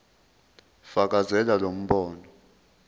fakazela lo mbono